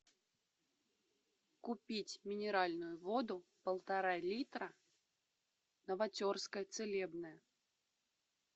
купить минеральную воду полтора литра новотерская целебная